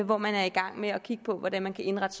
hvor man er i gang med at kigge på hvordan man kan indrette